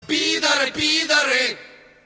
пидоры пидоры